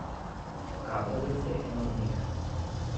Kaprovec je ena od njih.